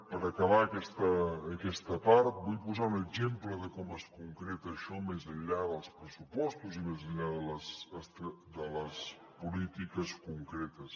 per acabar aquesta part vull posar un exemple de com es concreta això més enllà dels pressupostos i més enllà de les polítiques concretes